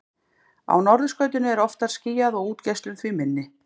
Á norðurskautinu er oftar skýjað og útgeislun því minni.